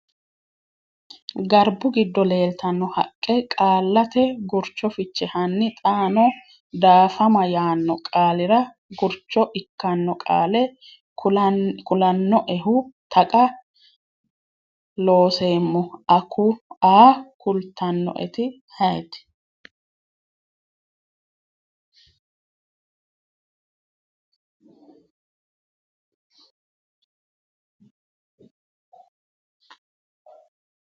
garbu gido leltano haqqe Qaallate Gurcho Fiche Hanni xaano “daafama” yaanno qaalira gurcho ikkanno qaale kulannoehu Taqa Looseemmo a kultannoeti ayeeti?